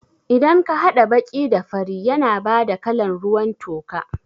Idan ka haɗa baƙi da fari yana bada kalan ruwan toka